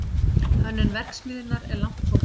Hönnun verksmiðjunnar er langt komin